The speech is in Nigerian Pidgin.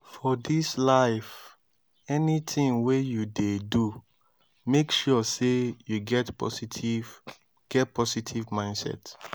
for dis life anytin wey yu dey do mek sure sey yu get positive get positive mindset